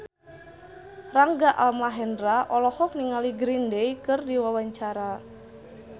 Rangga Almahendra olohok ningali Green Day keur diwawancara